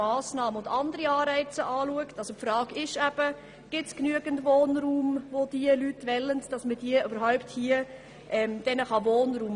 Die Frage ist zum Beispiel, ob es genügend Wohnraum gibt, den man den Leuten bieten kann.